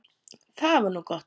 Það var gott